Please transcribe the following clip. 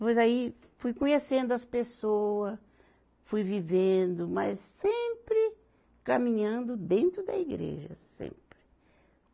Pois aí fui conhecendo as pessoa, fui vivendo, mas sempre caminhando dentro da igreja, sempre.